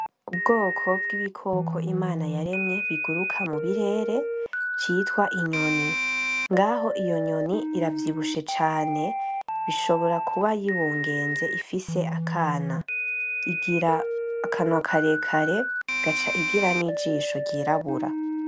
Ubwoko bw'ibikoko Imana yaremye biguruka mu birere citwa inyoni ngaho inyoni iravyibushe cane ishobora kuba yibugenze ifise akana. Igira akanwa karekare, igaca igira n'ijisho ryirabura.